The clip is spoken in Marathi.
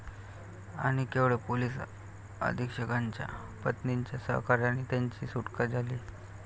आणि केवळ पोलीस अधीक्षकाच्या पत्नीच्या सहकार्याने त्यांची सुटका झाली.